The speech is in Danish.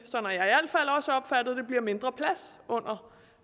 mindre plads under